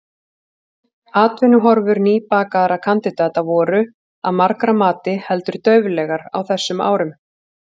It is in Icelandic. Atvinnuhorfur nýbakaðra kandidata voru, að margra mati, heldur dauflegar á þessum árum.